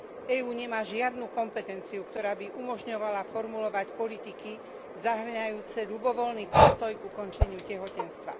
EÚ nemá žiadnu kompetenciu, ktorá by umožňovala formulovať politiky zahŕňajúce ľubovoľný postoj k ukončeniu tehotenstva.